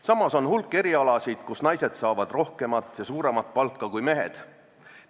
Samas on hulk erialasid, kus naised saavad suuremat palka kui mehed.